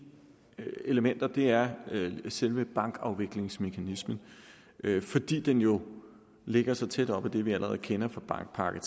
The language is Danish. elementer er selve bankafviklingsmekanismen fordi den jo ligger så tæt op ad det vi allerede kender fra bankpakke